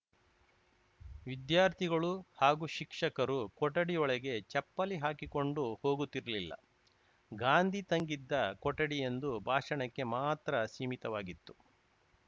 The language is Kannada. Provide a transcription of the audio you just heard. ವಿದ್ಯಾರ್ಥಿಗಳು ಹಾಗೂ ಶಿಕ್ಷಕರು ಕೊಠಡಿಯೊಳಗೆ ಚಪ್ಪಲಿ ಹಾಕಿ ಕೊಂಡು ಹೋಗುತ್ತಿರಲಿಲ್ಲ ಗಾಂಧಿ ತಂಗಿದ್ದ ಕೊಠಡಿ ಎಂದು ಭಾಷಣಕ್ಕೆ ಮಾತ್ರ ಸೀಮಿತವಾಗಿತ್ತು